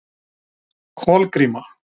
Kolgríma